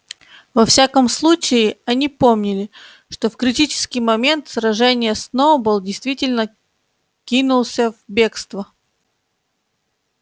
во всяком случае они помнили что в критический момент сражения сноуболл действительно кинулся в бегство